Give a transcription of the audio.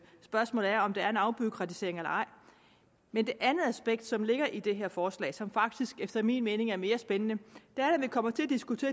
spørgsmålet er om der er en afbureaukratisering eller ej men det andet aspekt som ligger i det her forslag og som faktisk efter min mening er mere spændende